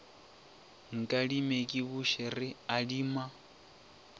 nkadime ke buše re adima